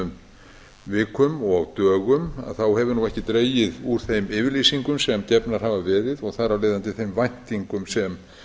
udnaförnum vikum og dögum hefur ekki dregið úr þeim yfirlýsingum sem gefnar hafa verið og þar af leiðandi þeim væntingum sem